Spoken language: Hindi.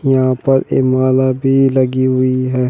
यहां पर एक माला भी लगी हुई है।